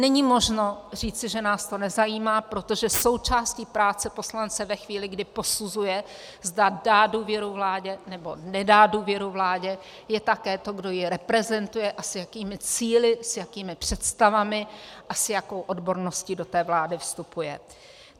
Není možno říci, že nás to nezajímá, protože součástí práce poslance ve chvíli, kdy posuzuje, zda dá důvěru vládě nebo nedá důvěru vládě, je také to, kdo ji reprezentuje a s jakými cíli, s jakými představami a s jakou odborností do té vlády vstupuje.